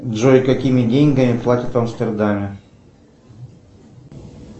джой какими деньгами платят в амстердаме